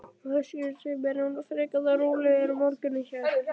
Höskuldur: Sem er svona frekar þá rólegur morgunn hjá ykkur?